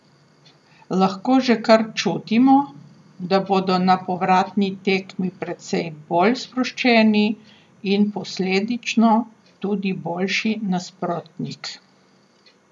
Lahko že kar čutimo, da bodo na povratni tekmi precej bolj sproščeni in posledično tudi boljši nasprotnik.